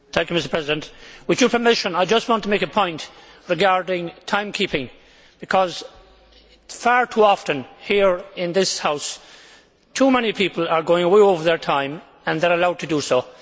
Mr President, with your permission, I just want to make a point regarding time keeping because far too often here in this House, too many people are going way over their time and they are allowed to do so.